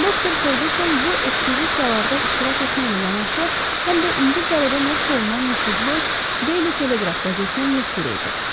Doktor Ferquson bu ekspedisiyalarda iştirak etməklə yanaşı, həm də İngiltərədə nəşr olunan nüfuzlu Deyli Teleqraf qəzetinin müxbiri idi.